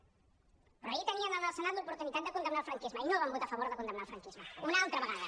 però ahir tenien en el senat l’oportunitat de condemnar el franquisme i no van votar a favor de condemnar el franquisme una altra vegada